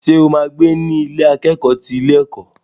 Ṣo ma gbé ní Ilé akẹ́kọ̀ọ́ ti ilé ẹ̀kọ́?